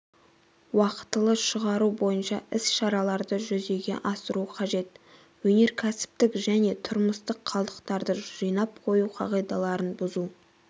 уақытылы шығару бойынша іс-шараларды жүзеге асыру қажет өнеркәсіптік және тұрмыстық қалдықтарды жинап қою қағидаларын бұзу